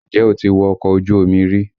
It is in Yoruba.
Ǹjẹ́ o ti wọ ọkọ ojú omi rí?